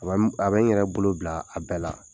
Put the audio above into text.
A bɛ n a bɛ n yɛrɛ bolo bila a bɛɛ la.